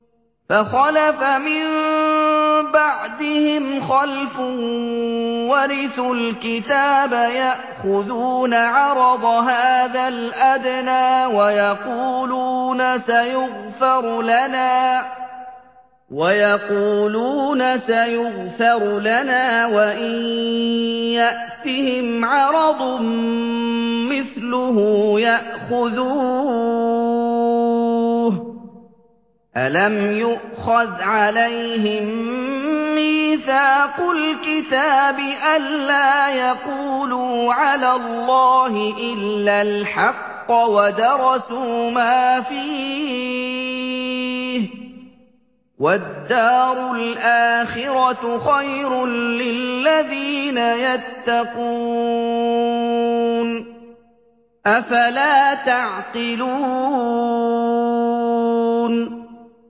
فَخَلَفَ مِن بَعْدِهِمْ خَلْفٌ وَرِثُوا الْكِتَابَ يَأْخُذُونَ عَرَضَ هَٰذَا الْأَدْنَىٰ وَيَقُولُونَ سَيُغْفَرُ لَنَا وَإِن يَأْتِهِمْ عَرَضٌ مِّثْلُهُ يَأْخُذُوهُ ۚ أَلَمْ يُؤْخَذْ عَلَيْهِم مِّيثَاقُ الْكِتَابِ أَن لَّا يَقُولُوا عَلَى اللَّهِ إِلَّا الْحَقَّ وَدَرَسُوا مَا فِيهِ ۗ وَالدَّارُ الْآخِرَةُ خَيْرٌ لِّلَّذِينَ يَتَّقُونَ ۗ أَفَلَا تَعْقِلُونَ